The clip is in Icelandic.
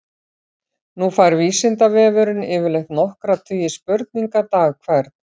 Nú fær Vísindavefurinn yfirleitt nokkra tugi spurninga dag hvern.